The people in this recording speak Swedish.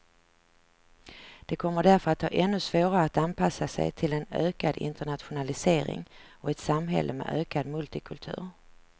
De kommer därför att ha ännu svårare att anpassa sig till en ökad internationalisering och ett samhälle med ökad multikultur.